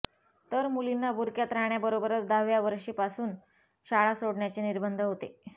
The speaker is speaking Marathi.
तर मुलींना बुरख्यात राहण्याबरोबरच दहाव्या वर्षीपासून शाळा सोडण्याचे निर्बंध होते